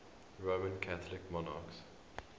roman catholic monarchs